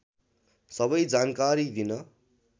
सबै जानकारी दिन